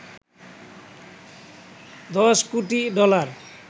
দশ কোটি ডলার